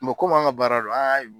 Me kom'an ŋa baara do a' a m